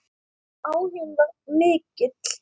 Áhuginn var mikill.